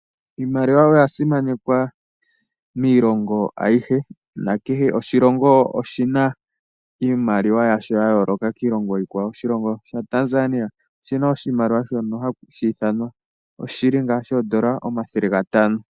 Iimaliwa oya simanekwa miilongo ayihe na oshilongo kehe shi na iimaliwa yasho ya yooka kiikwawo . Oshilongo Tanzania oshi na iimaliwa shono hashi ithanwa Shilling omathele gatano.